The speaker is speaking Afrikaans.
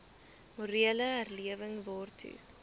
morele herlewing waartoe